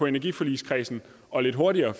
energiforligskredsen og lidt hurtigere